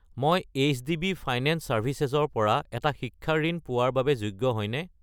মই HDB. Finance services ৰ পৰা এটা শিক্ষা ঋণ পোৱাৰ বাবে যোগ্য হয়নে?